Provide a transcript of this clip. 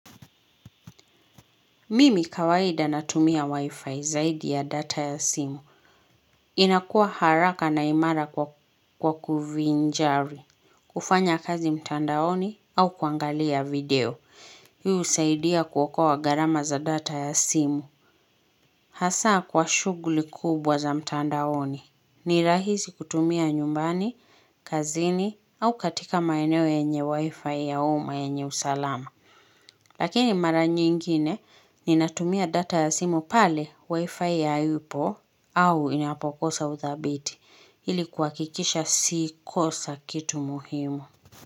Mimi kawaida natumia wifi zaidi ya data ya simu. Inakua haraka na imara kwa kuvinjari, kufanya kazi mtandaoni au kuangalia video. Hii usaidia kuokoa garama za data ya simu. Hasaa kwa shuguli kubwa za mtandaoni. Ni rahisi kutumia nyumbani, kazini au katika maeneo yenye wifi ya uma yenye usalama. Lakini mara nyingine ninatumia data ya simu pale wifi haipo au inapokosa uthabiti ili kuakikisha si kosa kitu muhimu.